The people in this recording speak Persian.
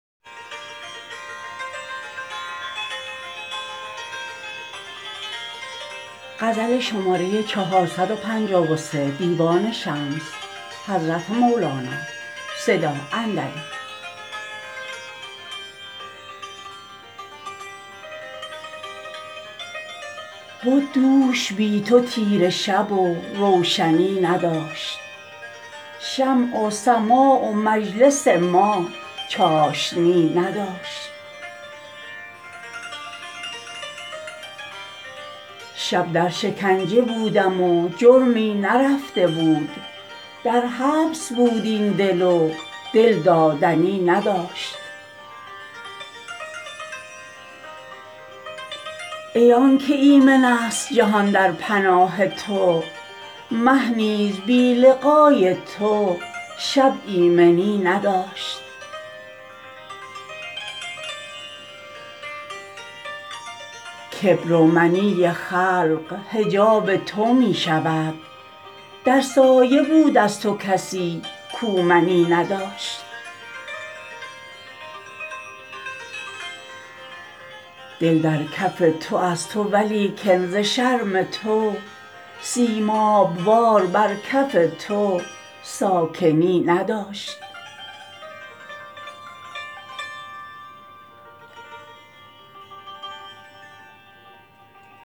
بد دوش بی تو تیره شب و روشنی نداشت شمع و سماع و مجلس ما چاشنی نداشت شب در شکنجه بودم و جرمی نرفته بود در حبس بود این دل و دل دادنی نداشت ای آنک ایمن ست جهان در پناه تو مه نیز بی لقای تو شب ایمنی نداشت کبر و منی خلق حجاب تو می شود در سایه بود از تو کسی کو منی نداشت دل در کف تو از تو ولیکن ز شرم تو سیماب وار بر کف تو ساکنی نداشت